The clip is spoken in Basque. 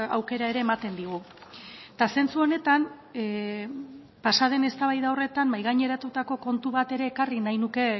aukera ere ematen digu eta zentzu honetan pasaden eztabaida horretan mahai gaineratutako kontu bat ere ekarri nahi nuke